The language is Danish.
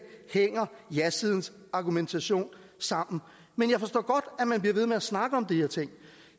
hænger jasidens argumentation sammen men jeg forstår godt at man bliver ved med at snakke om de her ting